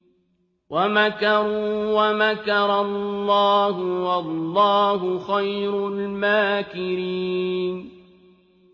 وَمَكَرُوا وَمَكَرَ اللَّهُ ۖ وَاللَّهُ خَيْرُ الْمَاكِرِينَ